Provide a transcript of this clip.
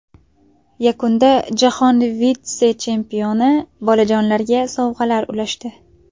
Yakunda jahon vitse-chempioni bolajonlarga sovg‘alar ulashdi.